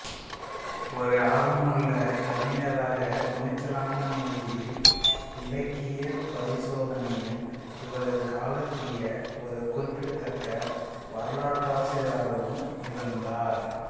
ஒரு ஆர்வமுள்ள கவிஞராக துனிச்சலான மொழியியல் இலக்கியப் பரிசோதனையும் இவரது காலத்திய ஒரு குறிப்பிடத்தக்க வரலாற்றாசிரியராகவும் இருந்தார்